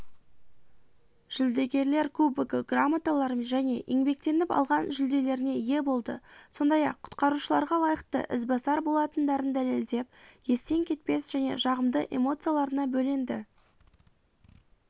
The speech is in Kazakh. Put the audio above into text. жүлдегерлер кубогы грамоталар және еңбектеніп алған жүлделеріне ие болды сондай-ақ құтқарушыларға лайықты ізбасар болатындарын дәлелдеп естен кетпес және жағымды эмоцияларына бөленді